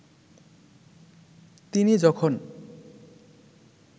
তিনি যখন